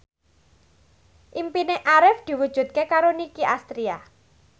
impine Arif diwujudke karo Nicky Astria